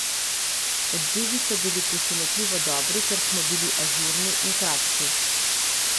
Odzivi so bili presenetljivo dobri, ker smo bili ažurni in kratki.